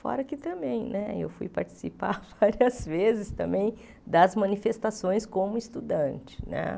Fora que também eu fui participar várias vezes também das manifestações como estudante.